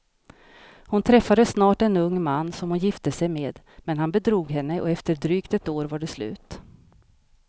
Hon träffade snart en ung man som hon gifte sig med, men han bedrog henne och efter ett drygt år var det slut.